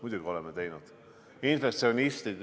Muidugi oleme teinud!